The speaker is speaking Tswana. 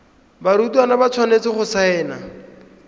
barutwana ba tshwanetse go saena